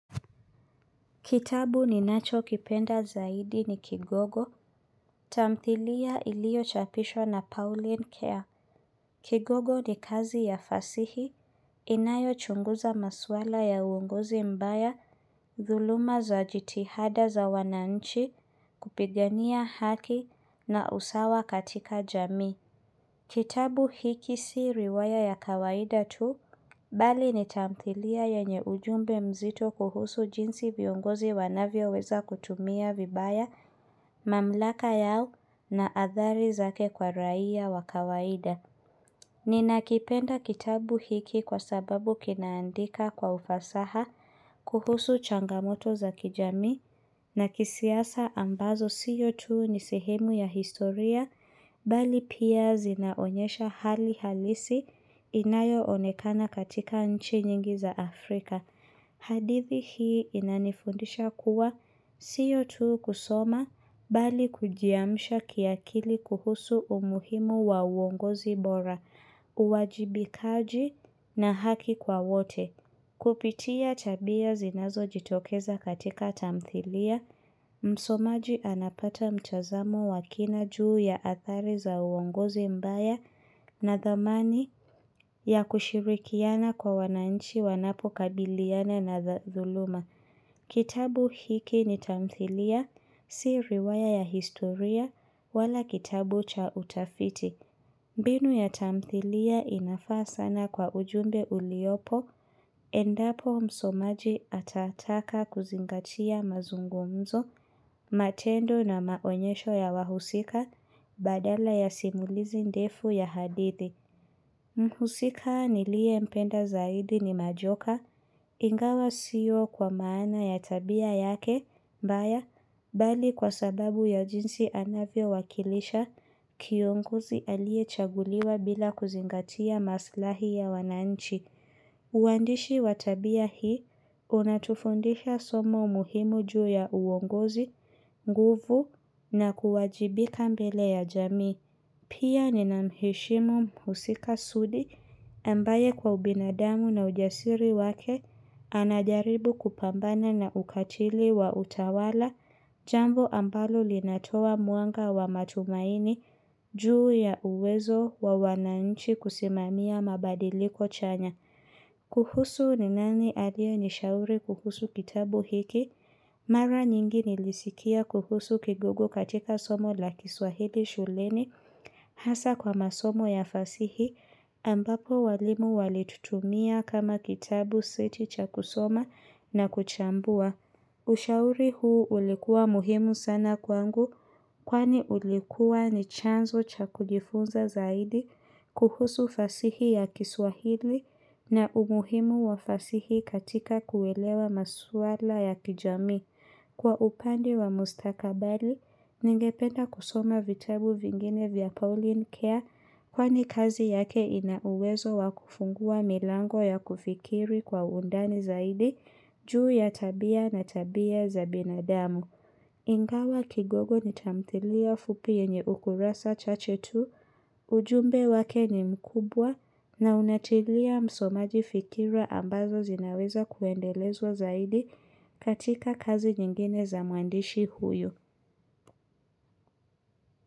Kitabu ninacho kipenda zaidi ni Kigogo, tamthilia iliyo chapishwa na Pauline Care. Kigogo ni kazi ya fasihi, inayo chunguza maswala ya uongozi mbaya, dhuluma za jitihada za wananchi, kupigania haki na usawa katika jamii. Kitabu hiki si riwaya ya kawaida tu, bali ni tamthilia yenye ujumbe mzito kuhusu jinsi viongozi wanavyo weza kutumia vibaya, mamlaka yao na adhari zake kwa raia wa kawaida. Ninakipenda kitabu hiki kwa sababu kinaandika kwa ufasaha kuhusu changamoto za kijamii na kisiasa ambazo siyo tu ni sihemu ya historia, bali pia zinaonyesha hali halisi inayo onekana katika nchi nyingi za Afrika. Hadithi hii inanifundisha kuwa sio tu kusoma bali kujiamsha kiakili kuhusu umuhimu wa uongozi bora, uwajibikaji na haki kwa wote. Kupitia tabia zinazo jitokeza katika tamthilia, msomaji anapata mtazamo wakina juu ya athari za uongozi mbaya na dhamani ya kushirikiana kwa wananchi wanapo kabiliana na dhuluma. Kitabu hiki ni tamthilia, si riwaya ya historia wala kitabu cha utafiti. Mbinu ya tamthilia inafaa sana kwa ujumbe uliopo, endapo msomaji atataka kuzingatia mazungumzo, matendo na maonyesho ya wahusika, badala ya simulizi ndefu ya hadithi. Mhusika niliyempenda zaidi ni Majoka ingawa sio kwa maana ya tabia yake mbaya. Bali kwa sababu ya jinsi anavyo wakilisha kiongozi aliyechaguliwa bila kuzingatia maslahi ya wananchi. Uandishi wa tabia hii, unatufundisha somo muhimu juu ya uongozi, nguvu, na kuwajibika mbele ya jamii. Pia ninamheshimu mhusika Sudi, ambaye kwa ubinadamu na ujasiri wake, anajaribu kupambana na ukatili wa utawala, jambo ambalo linatoa muanga wa matumaini juu ya uwezo wa wananchi kusimamia mabadiliko chanya. Kuhusu ni nani aliyenishauri kuhusu kitabu hiki, mara nyingi nilisikia kuhusu kigogo katika somo la kiswahili shuleni. Hasa kwa masomo ya fasihi ambapo walimu walitutumia kama kitabu sio tu cha kusoma na kuchambua. Ushauri huu ulikuwa muhimu sana kwangu kwani ulikuwa ni chanzo cha kujifunza zaidi kuhusu fasihi ya kiswahili na umuhimu wa fasihi katika kuelewa maswala ya kijami. Kwa upande wa mustakabali, ningependa kusoma vitabu vingine vya Pauline Care kwani kazi yake ina uwezo wakufungua milango ya kufikiri kwa undani zaidi juu ya tabia na tabia za binadamu. Ingawa kigogo ni tamthilia fupi yenye ukurasa chache tu, ujumbe wake ni mkubwa na unatilia msomaji fikira ambazo zinaweza kuendelezwa zaidi katika kazi nyingine za mwandishi huyu.